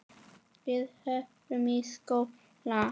Við förum í skóla.